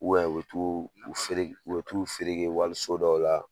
U bɛ u bɛ t'uu u fereg u bɛ t'u ferege waliso dɔw la